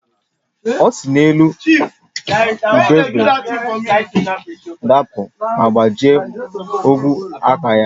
O si n’elu ubube dapụ ma gbajie ogwe aka ya